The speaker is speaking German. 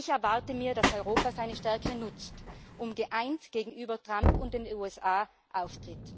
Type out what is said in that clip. Ich erwarte, dass Europa seine Stärke nutzt und geeint gegenüber Trump und den USA auftritt.